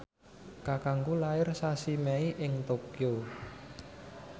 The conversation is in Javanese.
kakangku lair sasi Mei ing Tokyo